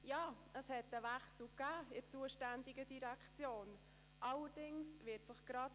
Ja, in der zuständigen Direktion hat es einen Wechsel gegeben;